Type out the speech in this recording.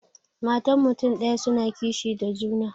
Matan mutun daya suna kishi da juna.